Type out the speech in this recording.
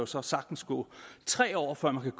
så sagtens gå tre år før man